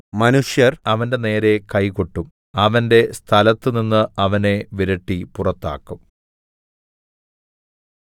മനുഷ്യർ അവന്റെനേരെ കൈകൊട്ടും അവന്റെ സ്ഥലത്തുനിന്ന് അവനെ വിരട്ടി പുറത്താക്കും